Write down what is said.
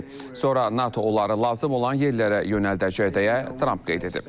Sonra NATO onları lazım olan yerlərə yönəldəcək deyə Tramp qeyd edib.